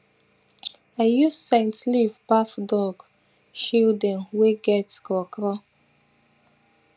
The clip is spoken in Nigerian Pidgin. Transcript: i use scent leave baff dog children wey get kro kro